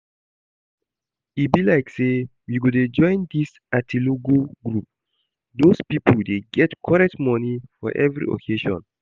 E be like say we go dey join this atilogwu group, doz people dey get correct money for every occasion